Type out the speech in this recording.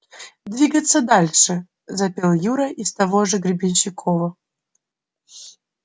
двигаться дальше запел юра из того же гребенщикова